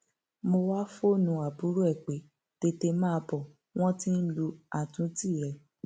mo wáá fóònù àbúrò ẹ pé tètè máa bọ wọn tí ń lu àtúntì rẹ